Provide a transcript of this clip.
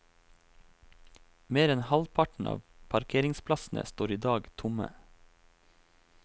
Mer enn halvparten av parkeringsplassene står i dag tomme.